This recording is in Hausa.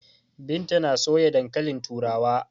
Binta na soya dankalin turawa.